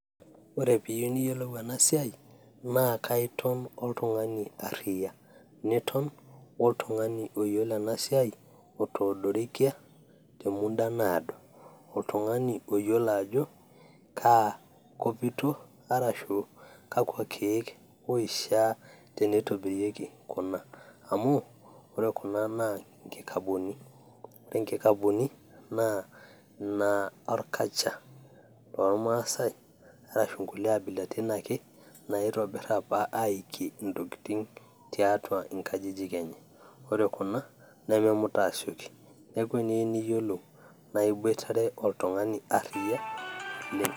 ore piiyieu niyiolou ena siai naa kaiton oltung'ani arriyia niton oltung'ani oyiolo ena siai otoodorikia te muda naado oltung'ani oyiolo ajo kaa kopito arashu kakua keek oishia tenitobirieki kuna amu ore kuna naa nkikabuni ore nkikabuni naa inorkacha lormaasay arashu nkulie abilaritin ake naitobirr aikie intokiting tiatua inkajijik enye ore kuna nememuta aasioki neeku eniyieu niyiolou naa iboitare oltung'ani arriyia oleng.